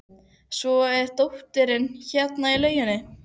Svo er dóttirin hérna í lauginni.